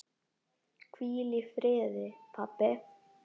Hvíl í friði, pabbi.